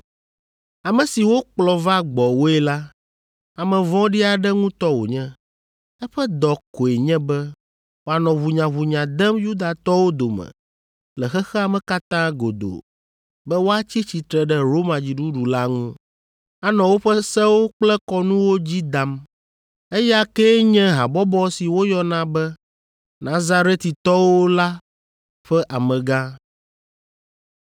“Ame si wokplɔ va gbɔwòe la, ame vɔ̃ɖi aɖe ŋutɔ wònye. Eƒe dɔ koe nye be wòanɔ ʋunyaʋunya dem Yudatɔwo dome le xexea me katã godoo be woatsi tsitre ɖe Roma dziɖuɖu la ŋu, anɔ woƒe sewo kple kɔnuwo dzi dam. Eya kee nye habɔbɔ si woyɔna be, Nazaretitɔwo la ƒe amegã.